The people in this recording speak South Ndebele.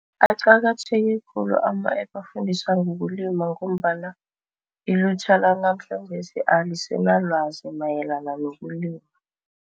Aqakatheke khulu ama-app afundisa ngokulima ngombana ilutjha lanamhlanjesi alisanalwazi mayelana nokulima.